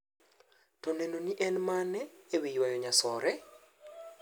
To nenoni en mane ewii ywayo nyasore?